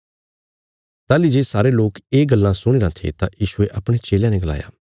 ताहली जे सारे लोक ये गल्लां सुणीराँ थे तां यीशुये अपणे चेलयां ने गलाया